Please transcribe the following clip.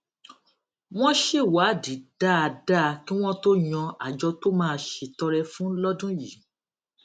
wón ṣèwádìí dáadáa kí wón tó yan àjọ tó máa ṣètọrẹ fún lódún yìí